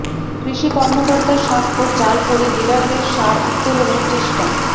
কৃষি কর্মকর্তার স্বাক্ষর জাল করে ডিলারদের সার উত্তোলনের চেষ্টা